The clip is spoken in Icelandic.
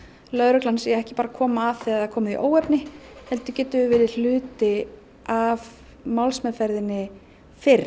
lögreglan sé ekki bara að koma að þegar það er komið í óefni heldur getur verið hluti af málsmeðferðinni fyrr